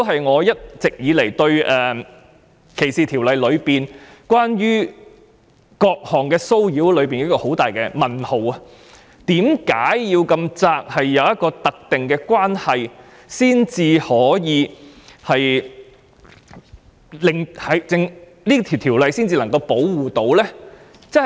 我一直對歧視法例內有關各項騷擾的定義存在很大問號，為何法例中的有關定義這麼狹窄，必須存着"特定關係"才能夠保護受害人？